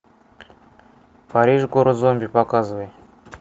париж город зомби показывай